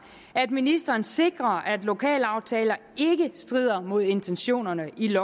at ministeren sikrer at lokalaftaler ikke strider mod intentionerne i